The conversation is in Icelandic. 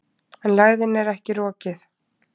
En lægðin er ekki rokið.